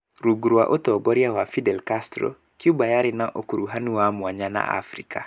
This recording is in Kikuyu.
Rungu rwa ũtongoria wa Fidel Castro, Cuba yarĩ na ũkuruhanu wa mwanya na Afrika.